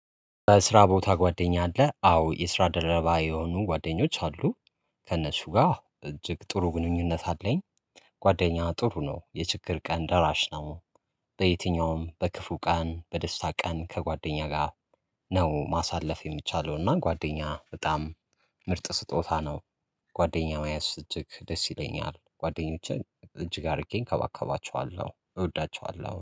በስራ ቦታ ጓደኛ አህ አዎ የስራ ደረባ የሆኑ ጓደኞች አሉ ከእነሱ ጋር እጅግ ጥሩ ግንኙነት አለኝ። ጓደኛ ጥሩ ነው የችግር ቀን ደራሽ ነው። በየትኛውም በክፉ ቀን በደስታ ቀን ከጓደኛ ጋር። ነው ማሳለፍ የሚቻለው እና ጓደኛ በጣም ምርጥ ስጦታ ነው። ጓደኛዬ መያዝ እጅግ ደስ ይለኛል ጓደኞቼ እጅግ አድርጌ እንከባከባቸዋለሁ እወዳቸዋለሁ